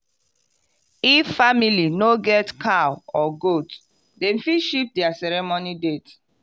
if family no get cow or goat dem fit shift their ceremony date.